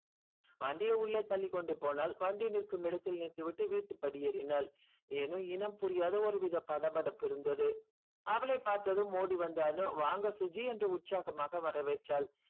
வண்டியை உள்ளே தள்ளி கொண்டுபோனால் வண்டி நிற்கும் இடத்தில் நிறுத்திவிட்டு வீட்டு படி ஏறினாள் ஏனும் இடம் புரியாத ஒரு வித படபடப்பு இருந்தது. அவளை பார்த்தும் ஓடிவந்த அனு வாங்க சுஜி என்று உற்சாகமாகா வரவேற்றாள்.